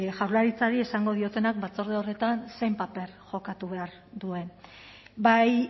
jaurlaritzari esango diotenak batzorde horretan zein paper jokatu behar duen bai